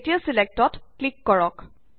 এতিয়া ছিলেক্ট ত ক্লিক কৰক